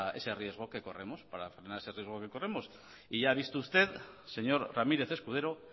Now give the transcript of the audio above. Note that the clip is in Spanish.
ese riesgo que corremos para frenar ese riesgo que corremos y ya ha visto usted señor ramírez escudero